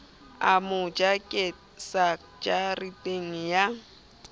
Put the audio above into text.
a mo jakisa jareteng ya